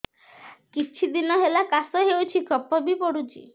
କିଛି ଦିନହେଲା କାଶ ହେଉଛି କଫ ବି ପଡୁଛି